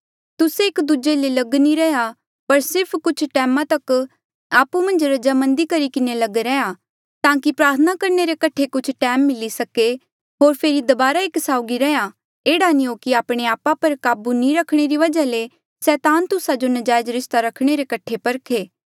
तुस्से एक दूजे ले लग नी रैहया पर सिर्फ कुछ टैमा तक आपु मन्झ रजामंदी करी किन्हें लग रैहया ताकि प्रार्थना करणे रे कठे कुछ टैम मिली सके होर फेरी दबारा एक साउगी रैहया एह्ड़ा नी हो कि आपणे आपा पर काबू नी रखणे री वजहा ले सैतान तुस्सा जो नजायज रिस्ता रखणे रे कठे परखे